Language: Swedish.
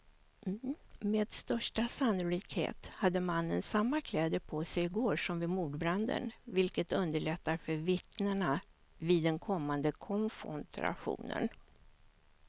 Med största sannolikhet hade mannen samma kläder på sig i går som vid mordbranden, vilket underlättar för vittnena vid den kommande konfrontationen.